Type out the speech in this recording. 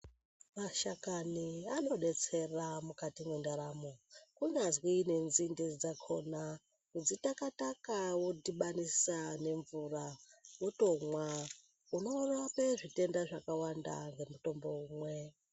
Mashakani anodetsera mukati mwendaramo kunyazi nenzinde dzakona kudzitakataka wodhibanisa nemvura wotomwa unorape zvitenda zvakawanda nomutombo umwe.